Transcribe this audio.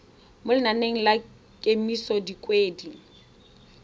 mo lenaneng la kemiso dikgwedi